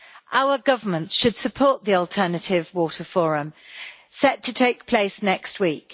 Our governments should support the Alternative Water Forum set to take place next week.